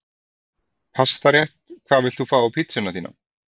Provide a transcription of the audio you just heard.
Pastarétt Hvað vilt þú fá á pizzuna þína?